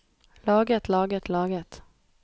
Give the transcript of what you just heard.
laget laget laget